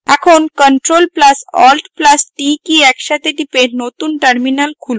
এখন ctrl + alt + t কী একসাথে টিপে নতুন terminal খুলুন